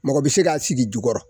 Mɔgɔ bɛ se k'a sigi jukɔrɔ